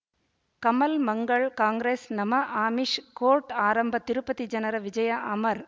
ಕಮಲ್ ಮಂಗಳ್ ಕಾಂಗ್ರೆಸ್ ನಮ ಆಮಿಷ್ ಕೋರ್ಟ್ ಆರಂಭ ತಿರುಪತಿ ಜನರ ವಿಜಯ ಅಮರ್